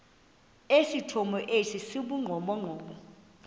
esithomo esi sibugqomogqomo